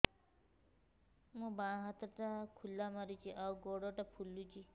ମୋ ବାଆଁ ହାତଟା ଖିଲା ମାରୁଚି ଆଉ ଗୁଡ଼ ଟା ଫୁଲୁଚି